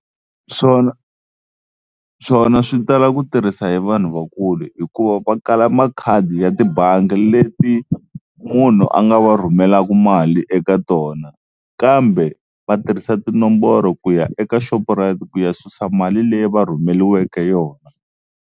Swona, swona swi tala ku tirhisa hi vanhu vakulu hikuva va kala makhadi ya tibangi leti munhu a nga va rhumelaka mali eka tona, kambe va tirhisa tinomboro ku ya eka Shoprite ku ya susa mali leyi va rhumeliweke yona.